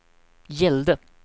gällde